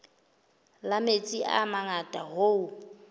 la metsi a mangata hoo